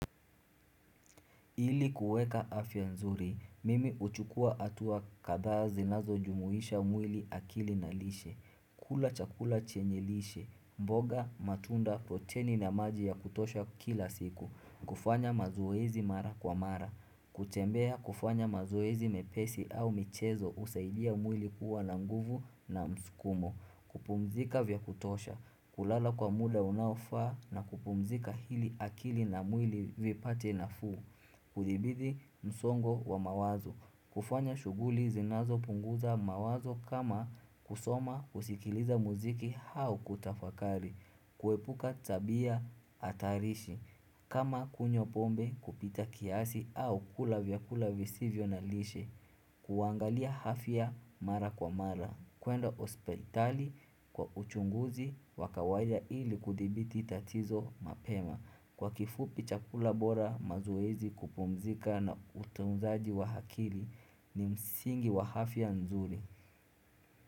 Ili kuweka afya nzuri, mimi uchukua atuwa kadha zinazojumuhisha mwili akili na lishe, kula chakula chenye lishe, mboga, matunda, proteni na maji ya kutosha kila siku, kufanya mazoezi mara kwa mara, kutembea kufanya mazoezi mepesi au michezo usaidia mwili kuwa na nguvu na mskumo, kupumzika vya kutosha, kulala kwa muda unaofaa na kupumzika hili akili na mwili vipate nafuu. Kudibidi msongo wa mawazo. Kufanya shughuli zinazopunguza mawazo kama kusoma kusikiliza muziki hau kutafakari. Kuepuka tabia atarishi. Kama kunywa pombe kupita kiasi au kula vyakula visivyo na lishe. Kuangalia hafya mara kwa mara. Kuenda ospeitali kwa uchunguzi wa kawaida ili kudibiti tatizo mapema Kwa kifupi chakula bora mazoezi kupumzika na utunzaji wa hakili ni msingi wa hafya nzuri.